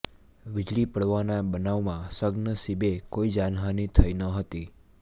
વીજળી પડવાના બનાવમાં સદ્નસીબે કોઈ જાનહાની થઈ ન હતી